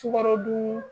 Sukarodun